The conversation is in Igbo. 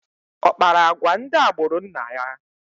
Ọ kpara agwa ndị agbụrụ nna ya?